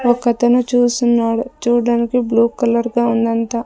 ఒకతను చూస్తున్నాడు చూడడానికి బ్లూ కలర్ గా ఉందంతా.